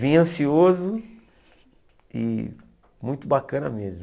Vim ansioso e muito bacana mesmo.